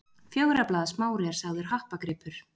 Fjögurra blaða smári er sagður happagripur.